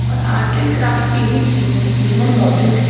और art and craft की भी चीजें इधर मौजूद है।